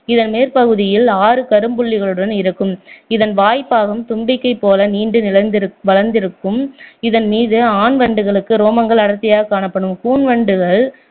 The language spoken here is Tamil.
இதன் மேற்பகுதியில் ஆறு கரும்புள்ளிகளுடன் இருக்கும் இதன் வாய்ப்பாகம் தும்பிக்கை போல நீண்டு நிலந்திருக்கும்~ வளர்ந்திருக்கும் இதன்மீது ஆண் வண்டுகளுக்கு ரோமங்கள் அடர்த்தியாக காணப்படும் கூன் வண்டுகள்